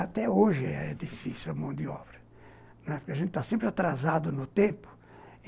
Até hoje é difícil a mão de obra, né, porque a gente está sempre atrasado no tempo.